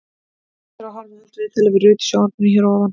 Hægt er að horfa á allt viðtalið við Rut í sjónvarpinu hér að ofan.